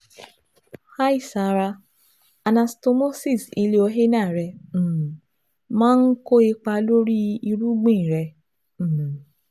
Hi Sara: Anastamosis ileoanal rẹ um maa n ko ipa lori irugbin rẹ um